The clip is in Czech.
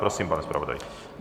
Prosím, pane zpravodaji.